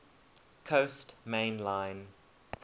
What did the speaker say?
coast main line